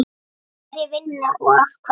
Hverjir vinna og af hverju?